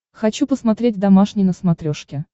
хочу посмотреть домашний на смотрешке